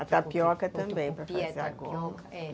A tapioca também